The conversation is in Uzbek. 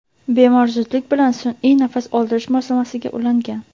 Bemor zudlik bilan sun’iy nafas oldirish moslamasiga ulangan.